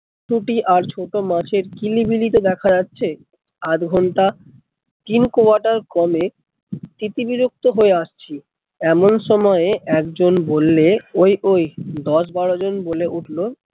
পুঁটি আর ছোট মাছ এর কিলি বিলি তে দেখা যাচ্ছে আধ ঘন্টা king qatar কলে তীতি বিরক্ত হয় আসছি, এমন সময় এক জন বললে ওই ওই দশ বারো জন বলে উঠলো,